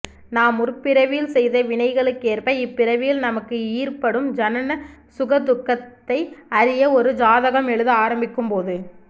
நாம் முற்பிறவியில் செய்த வினைகளுக்கேற்ப இப்பிறவியில் நமக்கு ஈற்படும் ஜனன சுகதுக்கத்தை அறிய ஒரு ஜாதகம் எழுத ஆரம்பிக்கும் போது